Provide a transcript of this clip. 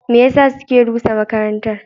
Me yasa suke rusa makarantar?